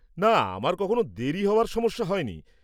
না, আমার কখনও দেরী হওয়ার সমস্যা হয়নি।